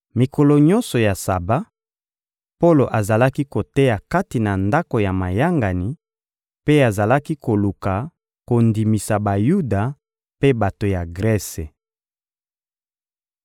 Mikolo nyonso ya Saba, Polo azalaki koteya kati na ndako ya mayangani mpe azalaki koluka kondimisa Bayuda mpe bato ya Grese.